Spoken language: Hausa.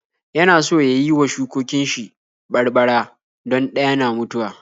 Yana so ya yi wa shukokin shi barbara don ɗaya na mutuwa.